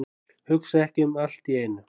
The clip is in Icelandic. Hugsa ekki um allt í einu.